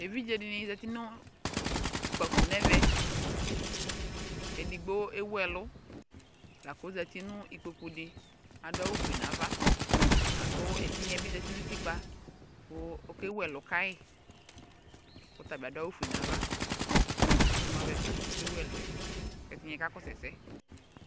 Eviɖze dini zati nʋ ukpafo n'ɛvɛ Edigbo ewu ɛlʋ lak'ozati nʋ ikpoku di, adʋ awʋ fue n'ava lakʋ ɛtigna yɛbi zafi nʋ utikpa kʋ okewu ɛlʋ kayi, ɔtabi adʋ awʋ fue n'ava imu avɛ fa k'oke wu ɛlʋɛ Ɛdini kakɔsʋ ɛsɛ